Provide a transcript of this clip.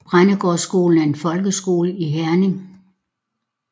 Brændgårdskolen er en folkeskole i Herning